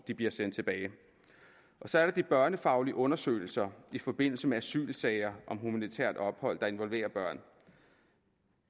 de bliver sendt tilbage så er der de børnefaglige undersøgelser i forbindelse med asylsager og om humanitært ophold der involverer børn